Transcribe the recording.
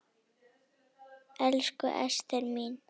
Elsku Ester mín.